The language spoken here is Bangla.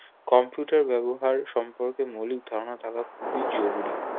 computer ব্যবহার সম্পর্কে মৌলিক ধারণা থাকা খুবই জরুরি